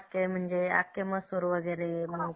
ते म्हणजे आखे मसुर वगैरे